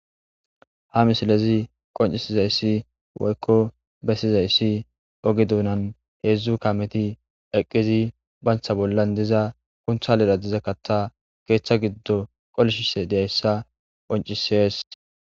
Ha misiley qonc'isizayi woyko besizaysi oge dunan 3 kameti eqidi banta bollan kontalera dizz katha kontalera diza katha ketha gidon qolishshe dizzaysa qonc'ises.